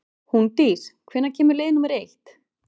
Húndís, hvenær kemur leið númer eitt?